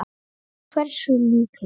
Hversu líklegt?